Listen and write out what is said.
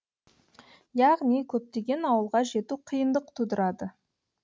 яғни көптеген ауылға жету қиындық тудырады